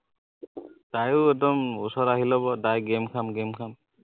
তাইও একদম ওচৰত আহি লব direct game খাম game খাম